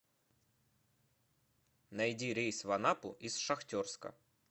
найди рейс в анапу из шахтерска